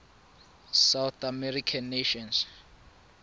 south american nations